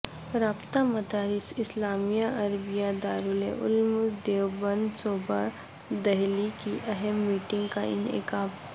رابطہ مدارس اسلامیہ عربیہ دارالعلوم دیوبند صوبہ دہلی کی اہم میٹنگ کاانعقاد